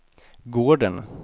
gården